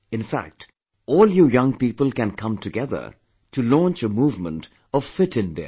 In fact, all you young people can come together to launch a movement of Fit India